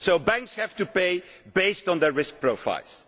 Banks have to pay based on their risk profiles.